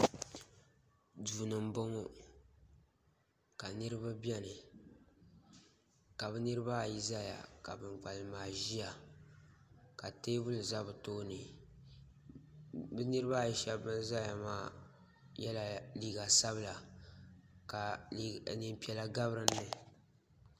so ni n bɔŋɔ ka niriba bɛni ka be niribaayi zaya ka ban kpalim maa ʒɛya ka tɛbuli zaa bɛ tuuni bɛ niribaayi shɛbi ban zaya maa yɛla liga sabila ka nɛɛpiɛla ka bɛ dini